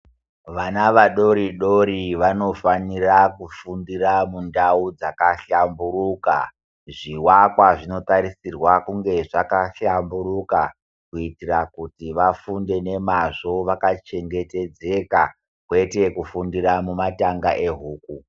Vana vadori Dori vanofanira kufundira mundau dzakahlamburuka zviakwa zvinotarisirwa kunga zvakahlamburuka kuitira kuti vafunde nemazvo vakachengetedzeka kwete kufundira mumatanga ehuku.